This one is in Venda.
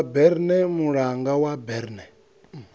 wa berne mulanga wa berne